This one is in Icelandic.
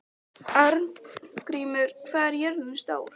Arngrímur, hvað er jörðin stór?